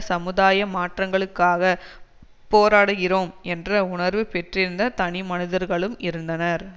சமுதாய மாற்றங்களுக்காகப் போராடுகிறோம் என்று உணர்வு பெற்றிருந்த தனிமனிதர்களும் இருந்தனர்